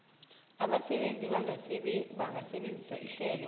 abasebenzi bangasebenzisa ihlelo